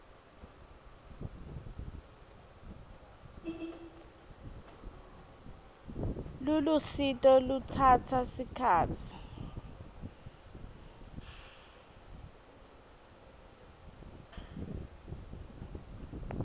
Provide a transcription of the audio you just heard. lolusito lutsatsa sikhatsi